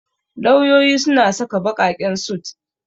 Lauyoyi suna saka ɓaƙaƙen sut.